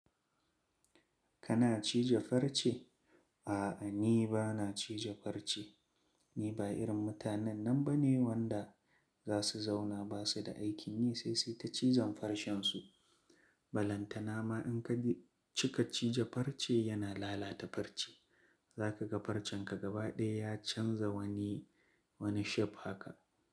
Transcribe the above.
Kana cije farce? A'a, ni ba na cije farce. Ni ba irin mutanen nan ba ne, wanda za su zauna ba su da aikin yi, sai suyita cizon farcen su. Balanta na ma in ka cika cije farce yana lalata farce. Za ka ga farcen ka gaba ɗaya ya canza wani, wani shape haka.